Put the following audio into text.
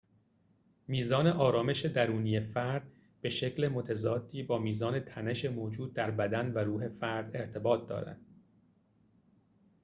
میزان آرامش درونی فرد به شکل متضادی با میزان تنش موجود در بدن و روح فرد ارتباط دارد